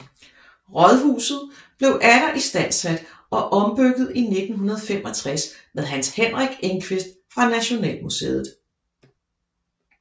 Rådhuset blev atter istandsat og ombygget i 1965 med Hans Henrik Engqvist fra Nationalmuseet